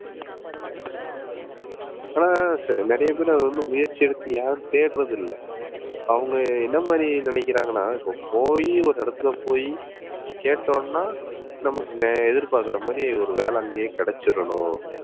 ஆனா நிறைய பேர் அதை வந்து முயற்சி எடுத்து யாரும் தேடுறதில்லை. அவங்க என்ன மாதிரி நினைக்கிறாங்கன்னா இப்ப போயி ஒரு இடத்துல போயி கேட்டோம்னா நமக்கு எதிர்பார்க்கிற மாதிரி ஒரு வேலை அங்கேயே கிடைச்சிறணும்